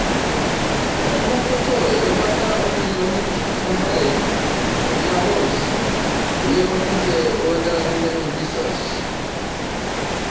Etanya poto erubata oo millionini 22 eingúa wolves eyieu ninje oladalani lenye Jesus